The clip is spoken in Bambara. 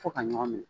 Fo ka ɲɔgɔn minɛ